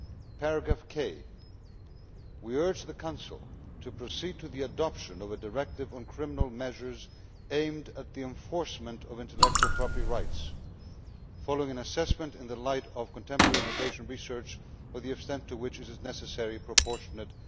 In paragraph 1, we urge the to Council to proceed to the adoption of the directive on criminal measures aimed at the enforcement of intellectual property rights, following an assessment, in the light of contemporary innovation research, of the extent to which it is necessary and proportionate'.